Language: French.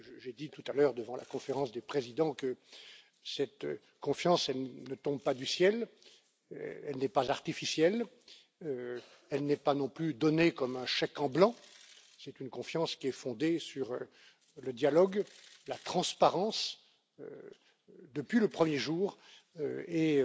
J'ai dit tout à l'heure, devant la Conférence des présidents, que cette confiance ne tombe pas du ciel, elle n'est pas artificielle, elle n'est pas non plus donnée comme un chèque en blanc c'est une confiance qui est fondée sur le dialogue, la transparence, depuis le premier jour, et